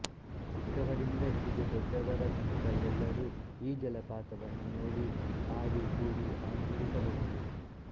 ಚಿಕ್ಕವರಿಂದ ಹಿಡಿದು ದೊಡ್ಡವರ ತನಕ ಎಲ್ಲರೂ ಈ ಜಲಪಾತವನ್ನು ನೋಡಿ ಆಡಿ ಕೂಡಿ ಆನಂದಿಸಬಹುದು